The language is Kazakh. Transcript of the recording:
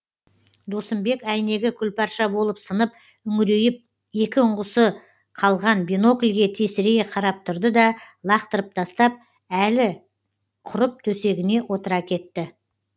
досымбек әйнегі күлпарша болып сынып үңірейіп екі ұңғысы қалған бинокльге тесірейе қарап тұрды да лақтырып тастап әлі құрып төсегіне отыра кетті